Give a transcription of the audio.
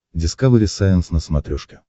дискавери сайенс на смотрешке